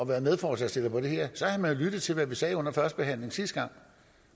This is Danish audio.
været medforslagsstiller på det her så havde man lyttet til hvad vi sagde under førstebehandlingen sidste gang